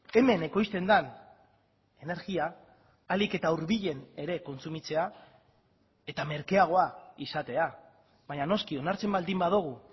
hemen ekoizten den energia ahalik eta hurbilen ere kontsumitzea eta merkeagoa izatea baina noski onartzen baldin badugu